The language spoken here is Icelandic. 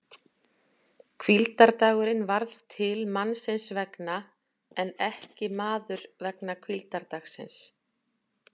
Hvíldardagurinn varð til mannsins vegna en ekki maður vegna hvíldardagsins!